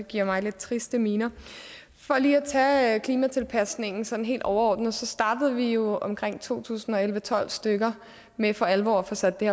giver mig lidt triste miner for lige at tage klimatilpasningen sådan helt overordnet startede vi jo omkring to tusind og elleve til tolv stykker med for alvor at få sat det